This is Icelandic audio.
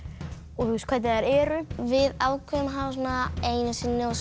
og hvernig þær eru við ákváðum að hafa svona einu sinni og